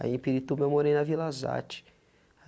Aí em Pirituba eu morei na Vila Zate.